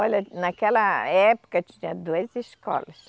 Olha, naquela época tinha duas escolas.